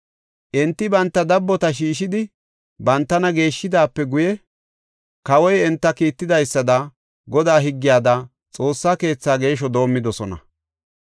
Enti banta dabbota shiishidi bantana geeshidaape guye kawoy enta kiittidaysada Godaa higgiyada Xoossa keethi geeshsho doomidosona.